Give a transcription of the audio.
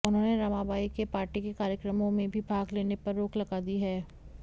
उन्होंने रमाबाई के पार्टी के कार्यक्रमों में भी भाग लेने पर रोक लगा दी है